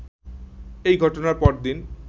এ ঘটনার পরদিন